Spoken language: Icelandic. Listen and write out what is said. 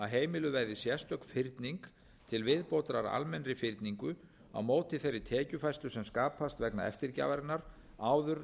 heimiluð verði sérstök fyrning til viðbótar almennri fyrningu á móti þeirri tekjufærslu sem skapast vegna eftirgjafarinnar áður en